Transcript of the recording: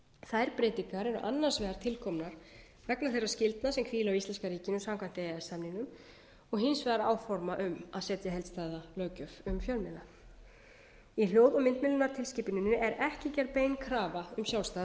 þær breytingar eru annars vegar til komnar vegna þeirra skyldna sem hvíla á íslenska ríkinu samkvæmt e e s samningnum og hins vegar áforma um að setja heildstæða löggjöf um fjölmiðla í hljóð og myndmiðlunartilskipuninni er ekki gerð bein krafa um sjálfstæða